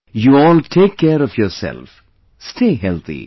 You all take care of yourself, stay healthy